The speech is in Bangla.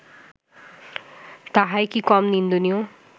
তাহাই কি কম নিন্দনীয়